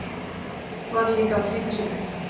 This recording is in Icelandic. Varð líka að flýta sér upp.